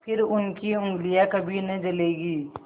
फिर उनकी उँगलियाँ कभी न जलेंगी